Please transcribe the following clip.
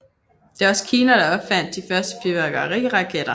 Det var også Kina der opfandt de første fyrværkeriraketter